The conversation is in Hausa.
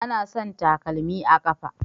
Anasan takalmi a kafa